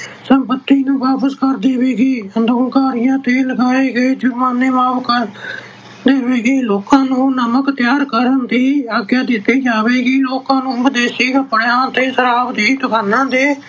ਸੰਪਤੀ ਨੂੰ ਵਾਪਸ ਕਰ ਦੇਵੇਗੀ। ਅੰਦੋਲਨਕਾਰੀਆਂ ਤੇ ਲਗਾਏ ਗਏ ਜੁਰਮਾਨੇ ਮਾਫ ਕਰ ਦੇਵੇਗੀ। ਲੋਕਾਂ ਨੂੰ ਨਮਕ ਤਿਆਰ ਕਰਨ ਦੀ ਆਗਿਆ ਦਿੱਤੀ ਜਾਵੇਗੀ। ਲੋਕਾਂ ਨੂੰ ਵਿਦੇਸ਼ੀ ਕੱਪੜਿਆਂ ਅਤੇ ਸ਼ਰਾਬ ਦੀ ਦੁਕਾਨਾਂ ਤੇ